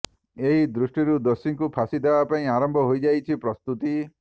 ଏହି ଦୃଷ୍ଟିରୁ ଦୋଷୀଙ୍କୁ ଫାଶୀ ଦେବାପାଇଁ ଆରମ୍ଭ ହୋଇଯାଇଛି ପ୍ରସ୍ତୁତି